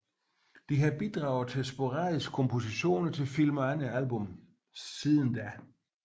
De har bidraget med sporadiske kompositioner til film og andre album siden da